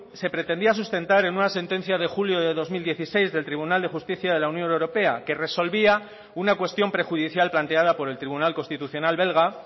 se pretendía sustentar en una sentencia de julio de dos mil dieciséis del tribunal de justicia de la unión europea que resolvía una cuestión prejudicial planteada por el tribunal constitucional belga